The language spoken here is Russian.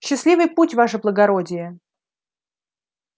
счастливый путь ваше благородие